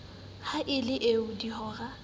ha e le ee dihora